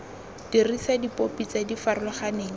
dirisa dipopi tse di farologaneng